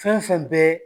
Fɛn fɛn bɛ